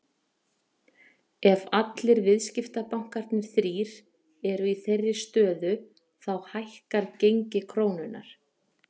Ef allir viðskiptabankarnir þrír eru í þeirri stöðu þá hækkar gengi krónunnar.